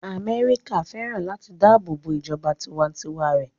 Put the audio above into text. Amẹ́ríkà fẹ́ràn láti dáàbò bo ìjọba tiwa-n-tiwa rẹ̀